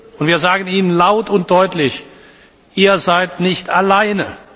Und wir sagen ihnen laut und deutlich Ihr seid nicht alleine!